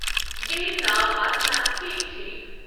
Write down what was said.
یہندۍ ناوٕ آسنا ٹھیک ٹھیک۔